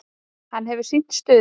Hann hefur sýnt stuðning.